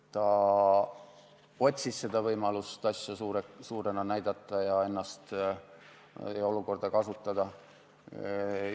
Ta otsis võimalust asja ja ennast suurena näidata ja olukorda ära kasutada.